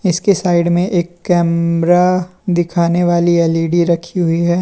इसके साइड में एक कैमरा दिखाने वाली एल_ई_डी रखी हुई है।